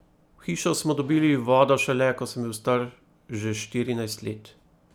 V hišo smo dobili vodo šele, ko sem bil star že štirinajst let.